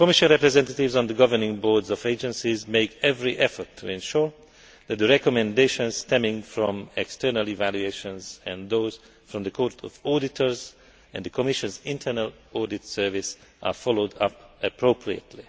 Commission representatives on the governing boards of agencies make every effort to ensure that the recommendations stemming from external evaluations, and those from the Court of Auditors and the Commission's internal audit service, are followed up appropriately.